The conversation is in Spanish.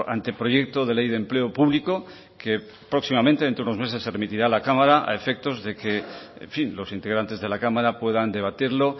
anteproyecto de ley de empleo público que próximamente dentro de unos meses se remitirá a la cámara a efectos de que en fin los integrantes de la cámara puedan debatirlo